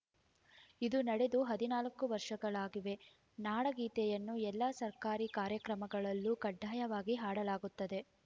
ಇದು ನಡೆದು ಹದಿನಾಲ್ಕು ವರ್ಷಗಳಾಗಿವೆ ನಾಡಗೀತೆಯನ್ನು ಎಲ್ಲಾ ಸರ್ಕಾರಿ ಕಾರ್ಯಕ್ರಮಗಳಲ್ಲೂ ಕಡ್ಡಾಯವಾಗಿ ಹಾಡಲಾಗುತ್ತದೆ